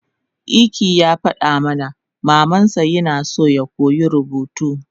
Ike yafadama mamansa yina so yakoya rubutu